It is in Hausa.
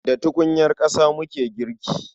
Da tukunyar ƙasa muke girki.